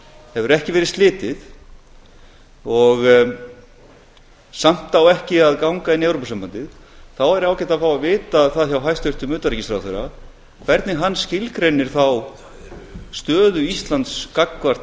hefur ekki verið slitið en samt á ekki að ganga inn í evrópusambandið þá væri ágætt að fá að vita það hjá hæstvirtum utanríkisráðherra hvernig hann skilgreinir þá stöðu íslands